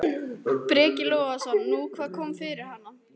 Breki Logason: Nú, hvað kom fyrir hana?